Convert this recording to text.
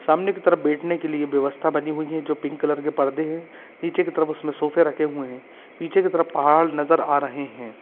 सामने की तरफ बैठ ने के लिए व्यवस्था बनी हुई है जो पिंक कलर के पर्दे है नीचे की तरफ उसमे सोफ़े रखे हुए है पीछे की तरफ पहाड नजर आ रहे है।